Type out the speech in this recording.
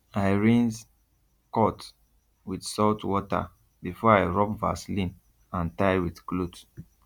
i rinse cut with salt water before i rub vaseline and tie with cloth